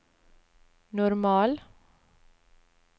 normal